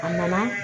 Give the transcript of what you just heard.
A nana